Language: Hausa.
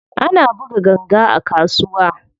Ana buga ganga a kasuwa.